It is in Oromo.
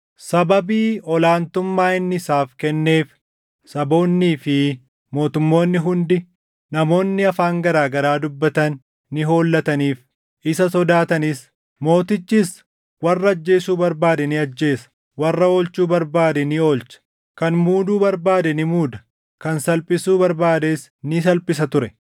Sababii ol aantummaa inni isaaf kenneef saboonnii fi mootummoonni hundi, namoonni afaan garaa garaa dubbatan ni hollataniif; isa sodaatanis. Mootichis warra ajjeesuu barbaade ni ajjeesa; warra oolchuu barbaade ni oolcha, kan muuduu barbaade ni muuda, kan salphisuu barbaades ni salphisa ture.